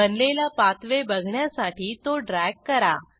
बनलेला पाथवे बघण्यासाठी तो ड्रॅग करा